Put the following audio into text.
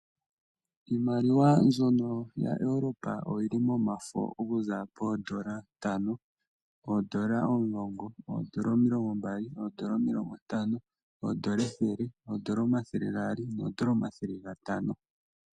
Iimaliwa mbyono ya Europe oyili momafo okuza poondola ntano, oondola omulongo, oondola omilongo mbali, oondola omilongo ntano, oondola ethele, oondola omathele gaali, noondola omathele gatano.